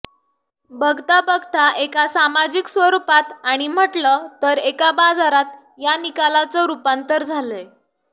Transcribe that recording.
बघता बघता एका सामाजिक स्वरूपात आणि म्हटलं तर एका बाजारात या निकालाचं रूपांतर झालंय